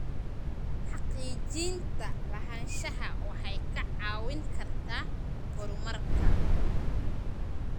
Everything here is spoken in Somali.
Xaqiijinta lahaanshaha waxay kaa caawin kartaa horumarka.